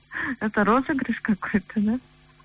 это розыгрыш какой то да